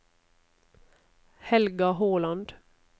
Helga Håland